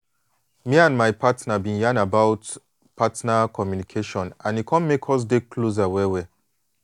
me and my partner been yan about partner communication and e come make us dey closer well well.